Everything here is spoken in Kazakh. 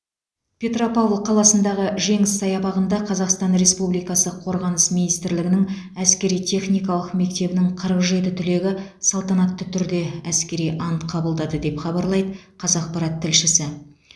петропавл қаласындағы жеңіс саябағында қазақстан республикасы қорғаныс министрлігінің әскери техникалық мектебінің қырық жеті түлегі салтанатты түрде әскери ант қабылдады деп хабарлайды қазақпарат тілшісі